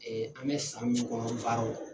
Ee an bɛ san min kɔnɔ baaraw la